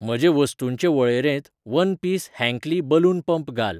म्हजे वस्तूंचे वळेरेंत वन पीस हँकली बलून पंप घाल.